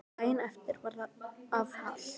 Daginn eftir var það var afhalt.